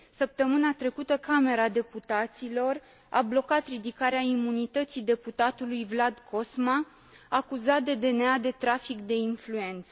Săptămâna trecută, Camera Deputaților a blocat ridicarea imunității deputatului Vlad Cosma, acuzat de DNA de trafic de influență.